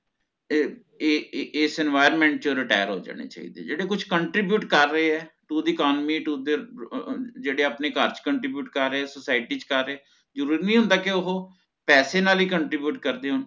ਏ ਏ ਇਹ ਇਸ environment ਚ retire ਹੋ ਜਾਣੇ ਚਾਹੀਦੇ ਜੇਹੜੇ ਕੁਛ contribute ਕਰ ਰਹੇ ਹਨ to the economy to their ਅਹ ਅਹ ਜੇਹੜੇ ਆਪਣੇ ਘਰ ਚ contribute ਕਰ ਰਹੇ ਹਨ society ਚ ਕਰ ਰਹੇ ਹਨ ਜਰੂਰੀ ਨੀ ਹੋਂਦਾ ਕੀ ਓਹ ਪੈਸੇ ਨਾਲ ਹੀ contribute ਕਰਦੇ ਹੋਣ